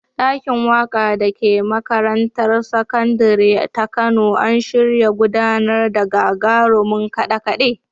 Ɗakin waƙa da ke makarantar sakandire ta Kano an shirya gudanar da gagarumin kaɗe-kaɗe